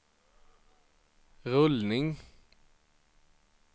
rullning